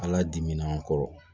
Ala dimin'an kɔrɔ